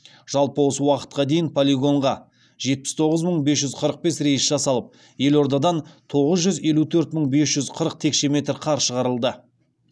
жалпы осы уақытқа дейін полигонға жетпіс тоғыз мың бес жүз қырық бес рейс жасалып елордадан тоғыз жүз елу төрт мың бес жүз қырық текше метр қар шығарылды